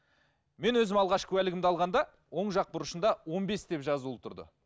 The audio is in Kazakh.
мен өзім алғаш куәлігімді алғанда оң жақ бұрышында он бес деп жазулы тұрды